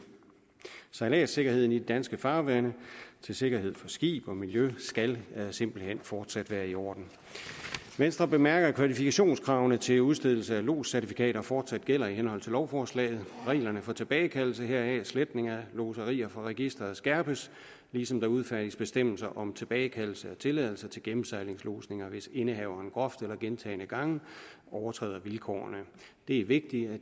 sejladssikkerheden i de danske farvande sikkerheden for skibe og miljø skal simpelt hen fortsat være i orden venstre bemærker at kvalifikationskravene til udstedelse af lodscertifikater fortsat gælder i henhold til lovforslaget reglerne for tilbagekaldelse heraf sletning af lodserier fra registeret skærpes ligesom der udfærdiges bestemmelser om tilbagekaldelse af tilladelser til gennemsejlingslodsninger hvis indehaveren groft eller gentagne gange overtræder vilkårene det er vigtigt at